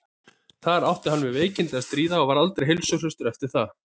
þar átti hann við veikindi að stríða og var aldrei heilsuhraustur eftir það